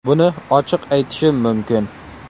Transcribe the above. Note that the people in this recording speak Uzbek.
Buni ochiq aytishim mumkin.